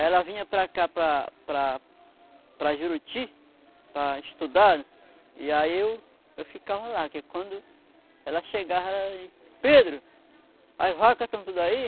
Ela vinha para cá, para para Juruti, para estudar, e aí eu ficava lá, que quando ela chegava, ela, Pedro, as vacas estão tudo aí?